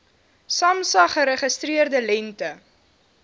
samsa geregistreerde lengte